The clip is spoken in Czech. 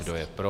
Kdo je pro?